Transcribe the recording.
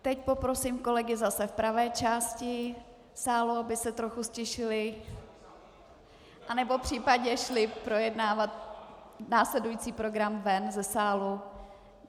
Teď poprosím kolegy zase v pravé části sálu, aby se trochu ztišili, anebo případně šli projednávat následující program ven ze sálu.